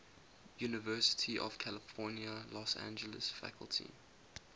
university of california los angeles faculty